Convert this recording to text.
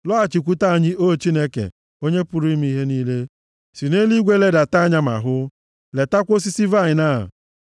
Lọghachikwute anyị, O Chineke, Onye pụrụ ime ihe niile. Si nʼeluigwe ledata anya ma hụ! Letakwa osisi vaịnị a,